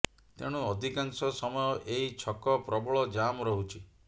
ତେଣୁ ଅଧିକାଂଶ ସମୟ ଏହି ଛକ ପ୍ରବଳ ଜାମ୍ ରହୁଛି